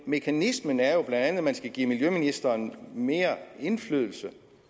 mekanismen er jo bla at man skal give miljøministeren mere indflydelse